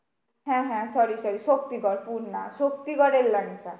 হ্যাঁ হ্যাঁ sorry sorry Shaktigarh পুর না শক্তিগড়ের লাংচা।